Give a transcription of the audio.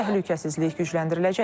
Təhlükəsizlik gücləndiriləcək.